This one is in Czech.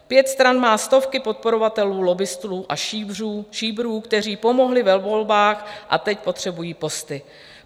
Pět stran má stovky podporovatelů, lobbistů a šíbrů, kteří pomohli ve volbách a teď potřebují posty.